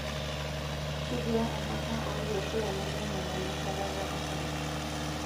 Kejiaa enkarna olkeek lainei lemoyian enkuatata osarge?